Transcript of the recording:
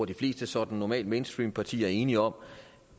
de fleste sådan normalt mainstreampartier er enige om